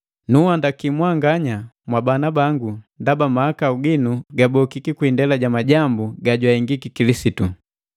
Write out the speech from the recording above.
Nunhandaki mwanganya, mwabana bangu ndaba mahakau ginu gabokiki kwi indela ja majambu gajwahengiki Kilisitu.